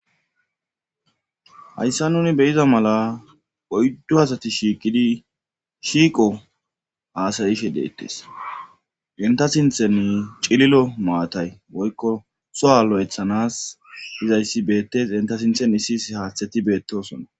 Hayssa nuni beyiza mala oyddu asati shiiqidi shiiqo haasayishe deettes enta sinthen cililo maatay woykko so'alo'ethanas izayssi beettes enta sinthen issis haaththeti beettosona.